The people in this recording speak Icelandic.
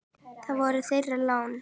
Það var þeirra lán.